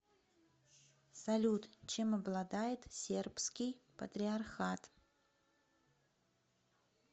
салют чем обладает сербский патриархат